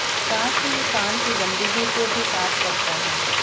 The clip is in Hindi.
साथ ही ये कान की गंदगी को भी साफ करता है